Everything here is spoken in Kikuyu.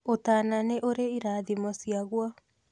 ũtana nĩ ũrĩ ĩrathimo ciaguo